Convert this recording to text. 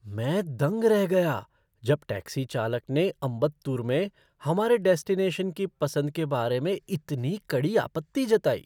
मैं दंग रह गया जब टैक्सी चालक ने अम्बत्तूर में हमारे डेस्टिनेशन की पसंद के बारे में इतनी कड़ी आपत्ति जताई।